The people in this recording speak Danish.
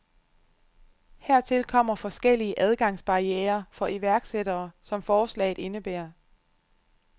Hertil kommer forskellige adgangsbarrierer for iværksættere, som forslaget indebærer.